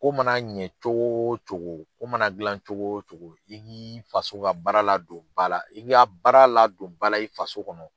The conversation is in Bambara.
Ko mana ɲɛ cogo o cogo, ko mana dilan cogo o cogo, i k'ii faso ka baara ladon ba la. I bi a baara ladon ba la i faso kɔnɔ.